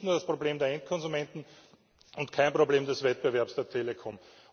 Es ist nicht nur das Problem der Endkonsumenten und kein Problem des Wettbewerbs der Telekom.